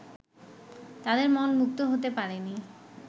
তাঁদের মন মুক্ত হতে পারেনি